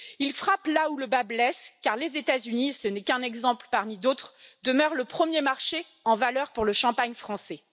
Il frappe là où le bât blesse, car les États Unis ce n'est qu'un exemple parmi d'autres demeurent le premier marché en valeur pour le champagne français.